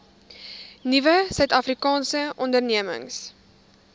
nuwe suidafrikaanse ondernemings